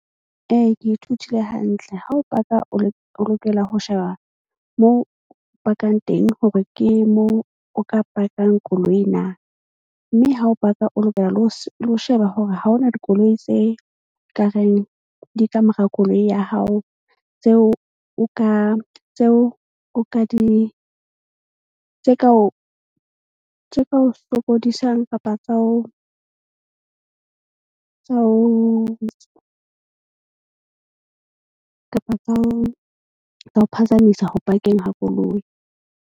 Ee, ke ithutile hantle ha o park-a o lokela ho sheba mo pakang teng hore ke mo o ka park-ang koloi na. Mme ha o park-a o lokela le ho sheba hore ha ho na dikoloi tse kareng di kamora koloi ya hao. Tseo o ka tseo o ka di tse ka o sokodisang kapa tsa ho kapa tsa ho phazamisa ho park-eng ha koloi.